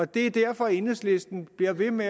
det er derfor at enhedslisten bliver ved med